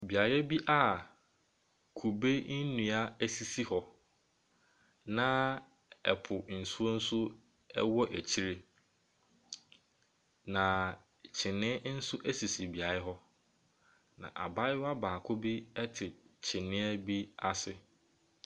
Beae bi kude nnua sisi hɔ, na ɛpo nsuo nso wɔ akyire. Na kyeniiɛ nso sisi beaeɛ hɔ Na abayewa baako te kyiniiɛ no ase.